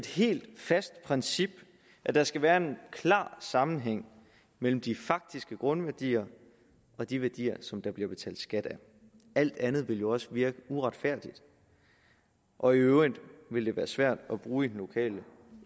helt fast princip at der skal være en klar sammenhæng mellem de faktiske grundværdier og de værdier som der bliver betalt skat af alt andet ville jo også virke uretfærdigt og i øvrigt ville det være svært at bruge det i den lokale